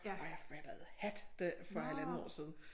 Og jeg fattede hat da for halvandet år siden